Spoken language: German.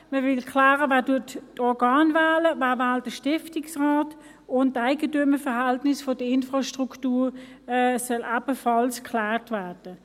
Man will klären, wer die Organe wählt, wer den Stiftungsrat wählt, und die Eigentümerverhältnisse der Infrastruktur sollen ebenfalls geklärt werden.